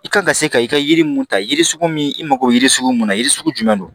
I kan ka se ka i ka yiri mun ta yiri sugu min i mago bɛ yiri sugu mun na yiri sugu jumɛn don